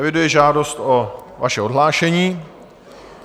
Eviduji žádost o vaše odhlášení.